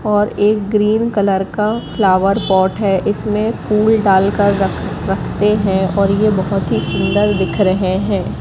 और ये green colour का फ्लावर पॉट है इसमें फुल डालकर रख रखते हैं और ये बहोत ही सुंदर दिख रहे हैं।